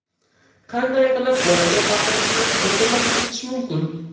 Qanday qilib bolaga baqirishni butunlay to‘xtatish mumkin?.